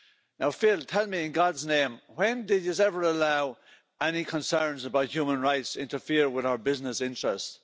Now Phil, tell me, in God's name when did you ever allow any concerns about human rights to interfere with our business interests?